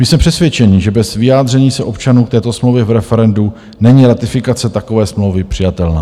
My jsme přesvědčeni, že bez vyjádření se občanů k této smlouvě v referendu není ratifikace takové smlouvy přijatelná.